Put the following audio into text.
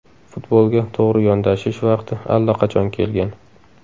Futbolga to‘g‘ri yondashish vaqti allaqachon kelgan.